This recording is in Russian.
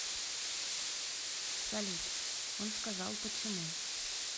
салют он сказал почему